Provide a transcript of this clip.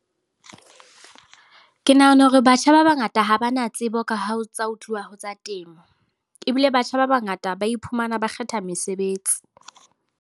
Ke nahana hore batjha ba bangata ha ba na tsebo ka ha tsa ho tluwa ho tsa temo. Ebile batjha ba bangata ba iphumana ba kgetha mesebetsi.